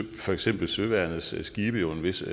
for eksempel søværnets skibe jo en vis